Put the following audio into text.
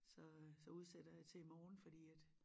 Så øh så udsætter jeg til i morgen fordi at